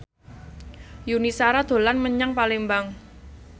Yuni Shara dolan menyang Palembang